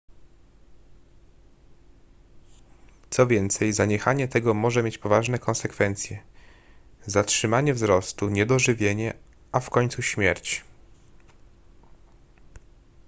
co więcej zaniechanie tego może mieć poważne konsekwencje zatrzymanie wzrostu niedożywienie a w końcu śmierć